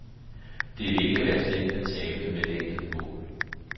Det vil ikke være slemt at tabe med et enkelt mål.